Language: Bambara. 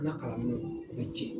N na kalan minɛnw be cɛn